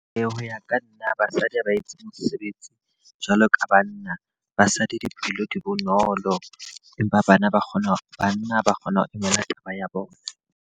Ee, ho ya ka nna basadi ha ba etse mosebetsi jwalo ka banna. Basadi diphello di bonolo, empa bana ba kgona hore banna ba kgona ho emela taba ya bona.